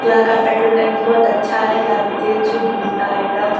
यहाँ का पेट्रोल टंकी बहोत अच्छा है यहाँ पे तेल शुद्ध मिलता है एकदम।